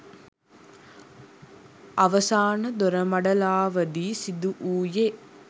අවසාන දොරමඩලාවදී සිදුවුයේ